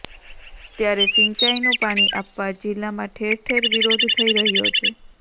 ત્યારે સિંચાઇનું પાણી આપવા જિલ્લામાં ઠેરઠેર વિરોધ થઇ રહ્યો છે